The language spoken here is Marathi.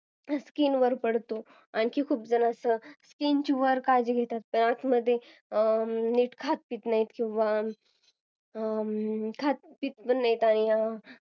Skin वर पडतो जसं की नीट खूप जण काही खात पीत पण नाही किंवा